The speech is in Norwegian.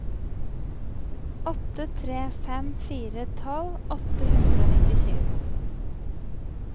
åtte tre fem fire tolv åtte hundre og nittisju